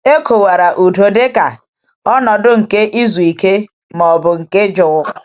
E kọwara udo dịka um ‘ọnọdụ nke izuike um ma um ọ bụ nke jụụ.’